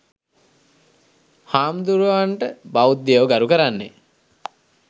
හාමුදුරුවරුන්ට බෞද්ධයෝ ගරු කරන්නේ